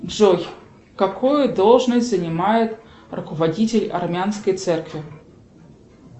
джой какую должность занимает руководитель армянской церкви